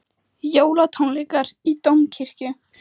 Jólatónleikar í Dómkirkju